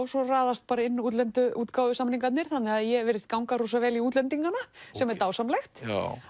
svo raðast bara inn útlendu þannig að ég virðist ganga vel í útlendingana sem er dásamlegt